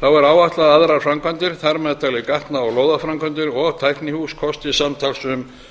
þá er áætlað að aðrar framkvæmdir þar með talið gatna og lóðaframkvæmdir og tæknihús kosti samtals um